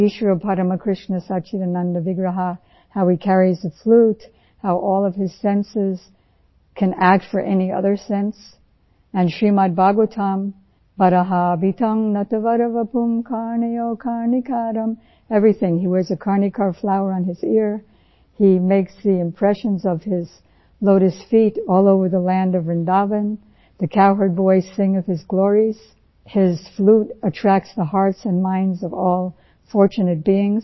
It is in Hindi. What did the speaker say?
ईश्वर परम कृष्ण सच्चिदानन्द विग्रह how he carries the flute how all of his senses can act for any other sense and Shrimad Bhagavatam TCR 909 बर्हापींड नटवरवपुः कर्णयो कर्णिकारं एवरीथिंग हे वियर्स आ कर्णिका flower on his ear he makes the impression of his lotus feet all over the land of Vrindavan the cowherds voicing of his glories his flute attracts the hearts and minds of all fortunate beings